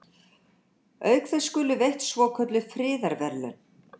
Auk þess skulu veitt svokölluð friðarverðlaun.